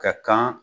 Ka kan